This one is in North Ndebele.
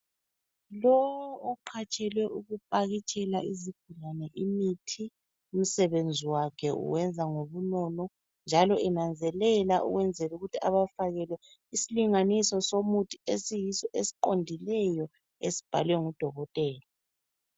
Lo oqhatshelwe ukupakitshela isigulane imithi umsebenzi wakhe uwenza ngobunono njalo enanzelela ukwenzela ukuthi ebafakele isilinganiso somuthi esiyiso esiqondileyo esibhalwe ngudokotela.